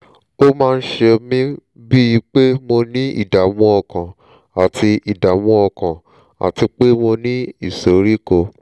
ó máa ń ṣe mí bíi pé mo ní ìdààmú ọkàn àti ìdààmú ọkàn àti pé mo ní ìsoríkọ́